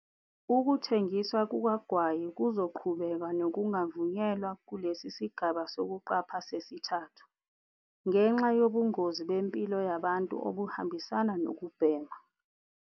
Ukuthengiswa kukagwayi kuzoqhubeka nokungavunyelwa kulesi sigaba sokuqapha sesithathu, ngenxa yobungozi bempilo yabantu obuhambisana nokubhema.